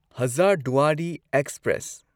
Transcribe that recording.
Hazarduari express